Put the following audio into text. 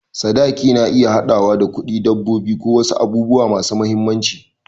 Sadaki na iya haɗawa da kuɗi, dabbobi, ko wasu abubuwa masu mahimmanci.